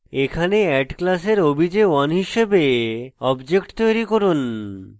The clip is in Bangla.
এখানে add class obj1 হিসাবে object তৈরী করি